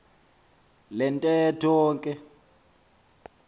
le ntetho ke